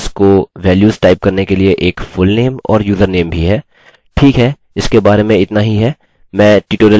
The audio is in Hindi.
यहाँ हमारे पास यूज़र्स को वेल्युस टाइप करने के लिए एक fullname और username भी है